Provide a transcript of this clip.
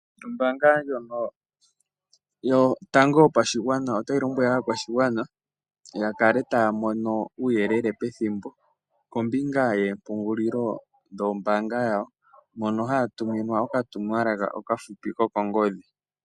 Ombaanga ndjono yotango yopashigwana otayi lombwele aakwashigwana ya kale taya mono uuyelele pethimbo kombinga yoompungulilo dhoombaanga dhawo mpono haya tuminwa okatumwalaka okahupi kokongodhi.